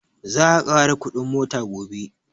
Za a ƙara kuɗin mota gobe